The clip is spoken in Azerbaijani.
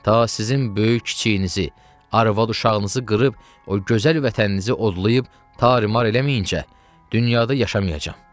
ta sizin böyük kiçiyinizi, arvad uşağınızı qırıb, o gözəl vətəninizə odlayıb, tarimar eləməyincə dünyada yaşamayacam.